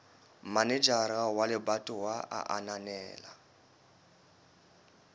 manejara wa lebatowa a ananela